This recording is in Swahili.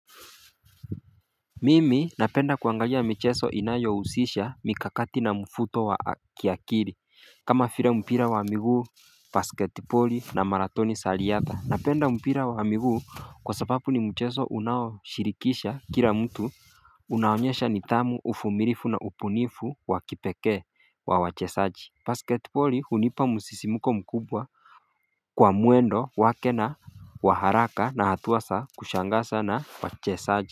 Mimi napenda kuangalia mcheso inayohusisha mikakati na mfuto wa kiakiri kama file mpira wa miguu basket poli na marathoni sa riatha Napenda mpira wa miguu kwa sababu ni mcheso unaoshirikisha kila mtu unaonyesha nithamu ufumilifu na upunifu wakipeke wa wachesaji Basket poli hunipa musisimuko mkubwa kwa muendo wake na waharaka na hatua sa kushangasa na wachesaji.